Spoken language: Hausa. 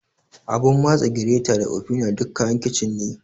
Abun matsa, gireta da ofina duk kayan kicin ne.